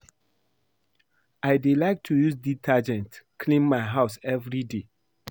I dey like to use detergent clean my house everyday